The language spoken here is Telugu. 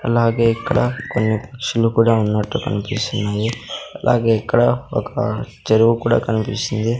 అలాగే ఇక్కడ కొన్ని పక్షులు కూడా ఉన్నట్టు కనిపిస్తున్నాయి అలాగే ఇక్కడ ఒక చెరువు కూడా కనిపిస్తుంది.